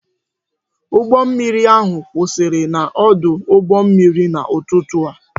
Ụgbọ mmiri ahụ kwụsịrị n'ọdụ ụgbọ mmiri n'ụtụtụ a